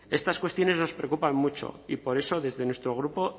estas cuestiones nos preocupan mucho y por eso desde nuestro grupo